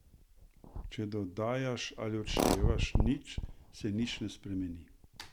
Če dodajaš ali odštevaš nič, se nič ne spremeni.